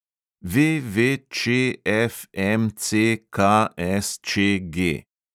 VVČFMCKSČG